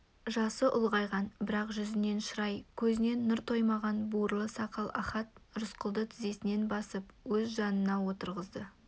жасы ұлғайған бірақ жүзінен шырай көзінен нұр таймаған бурыл сақал ахат рысқұлды тізесінен басып өз жанына отырғызды